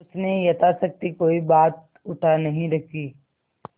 उसने यथाशक्ति कोई बात उठा नहीं रखी